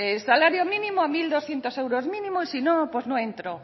salario mínimo a mil doscientos euros mínimo y si no pues no entro